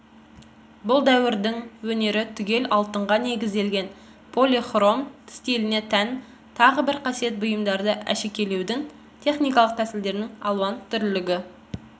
бұл дәуірдің өнері түгел алтынға негізделген полихром стиліне тән тағы бір қасиет бұйымдарды әшекейлеудің техникалық тәсілдердің алуан түрлілігі